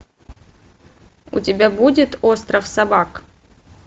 у тебя будет остров собак